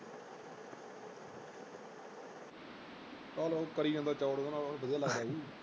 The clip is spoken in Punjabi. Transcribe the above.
ਚਾਲ ਉਹ ਕਰੀ ਜਾਂਦਾ ਚੌੜ ਓਹਦੇ ਨਾਲ ਓਹਨੂੰ ਬੜੀਆਂ ਲਗਦਾ ਹੋਊ।